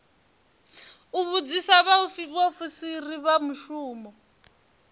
u vhudzisa vhaofisiri vha muvhuso